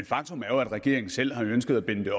faktum er jo at regeringen selv har ønsket at binde det